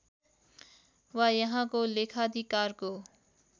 वा यहाँको लेखाधिकारको